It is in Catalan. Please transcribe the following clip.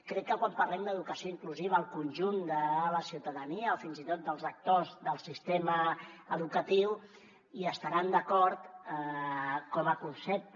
crec que quan parlem d’educació inclusiva el conjunt de la ciutadania o fins i tot dels actors del sistema educatiu hi estaran d’acord com a concepte